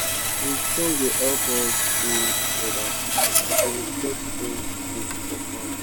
de song da help us da together as we da spread chicken shit for farm